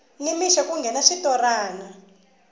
ni mixo ku nghena switorana